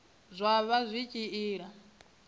zwa vha zwi tshi ila